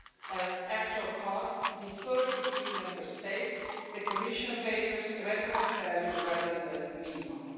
As actual costs differ between Member States, the Commission favours reference value rather than minimum.